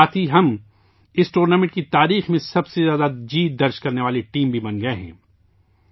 اس کے ساتھ ہی ہم اس ٹورنامنٹ کی تاریخ میں سب سے زیادہ جیت درج کرنے والی ٹیم بھی بن گئے ہیں